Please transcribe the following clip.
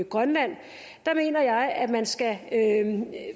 grønland mener jeg at man skal